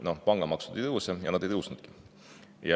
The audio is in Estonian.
Noh, pangamaksud ei tõuse, ja nad ei tõusnudki.